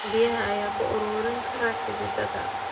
Biyaha ayaa ku ururin kara xididdada.